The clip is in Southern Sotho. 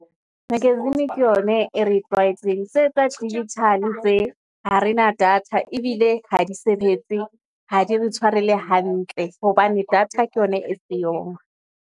Magazine ke yona e re tlwaetseng, tse tsa digital tse ha rena data ebile ha di sebetse ha di re tshware le hantle hobane data ke yona e siyong.